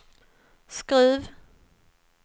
Skruv